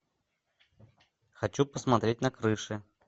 хочу посмотреть на крыши